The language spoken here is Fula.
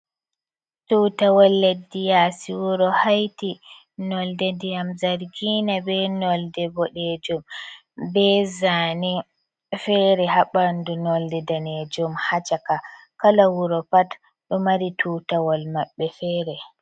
Tutawal leddi yasi wuro Haiti nolde ndiyam zargina be nolde bodejum. Be zani fere ha ɓandu nolde danejum ha caka. Kala wuro pat do mari tutawal maɓɓe fere.